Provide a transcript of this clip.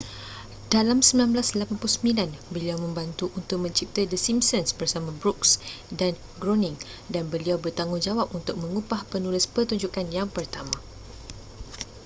dalam 1989 beliau membantu untuk mencipta the simpsons bersama brooks dan groening dan beliau bertanggungjawab untuk mengupah penulis pertunjukan yang pertama